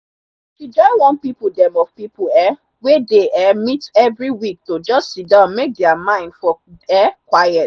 she join one pipo dem of people um wey dey um meet every week to just siddon make their mind for um quiet.